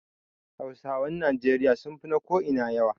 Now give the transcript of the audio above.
Hausawan Najeriya sun fi na ko ina yawa